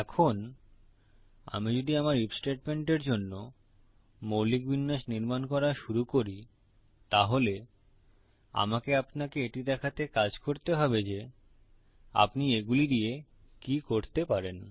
এখন আমি যদি আমার আইএফ স্টেটমেন্টের জন্য মৌলিক বিন্যাস নির্মান করা শুরু করি তাহলে আমাকে আপনাকে এটি দেখাতে কাজ করতে হবে যে আপনি এগুলি দিয়ে কি করতে পারেন